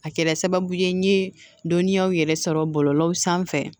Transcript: A kɛra sababu ye n ye dɔnniyaw yɛrɛ sɔrɔ bɔlɔlɔ sanfɛ